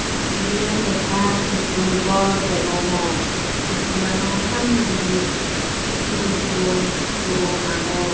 Eyen school gor degongor schoolano samnedi sigon sigon guro agon.